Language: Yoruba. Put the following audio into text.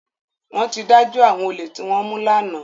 Wọ́n ti dájọ́ àwọn olè tí wọ́n mú lánàá